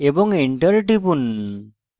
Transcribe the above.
এবং enter টিপুন